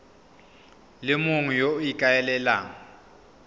le mongwe yo o ikaelelang